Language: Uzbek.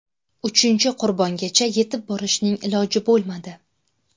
Uchinchi qurbongacha yetib borishning iloji bo‘lmadi.